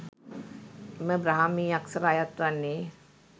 එම බ්‍රාහ්මී අක්‍ෂර අයත් වන්නේ